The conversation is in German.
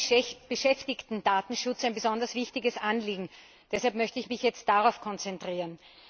Mir ist der Beschäftigtendatenschutz ein besonders wichtiges Anliegen. Deshalb möchte ich mich jetzt darauf konzentrieren.